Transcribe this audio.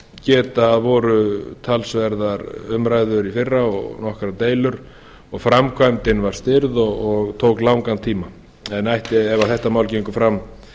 geta að voru talsverðar umræður í fyrra og nokkrar deilur og framkvæmdin var stirð og tók langan tíma en ætti ef þetta mál gengur fram